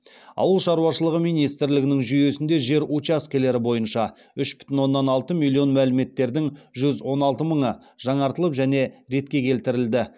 ауыл шаруашылығы министрлігінің жүйесінде жер учаскелері бойынша үш бүтін оннан алты миллион мәліметтердің жүз он алты мыңы жаңартылып және ретке келтірілді